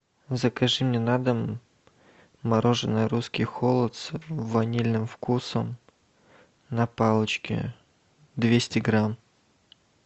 закажи мне на дом мороженое русский холод с ванильным вкусом на палочке двести грамм